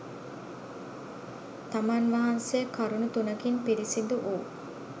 තමන් වහන්සේ කරුණු තුනකින් පිරිසිදු වූ